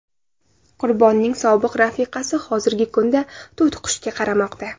Qurbonning sobiq rafiqasi hozirgi kunda to‘tiqushga qaramoqda.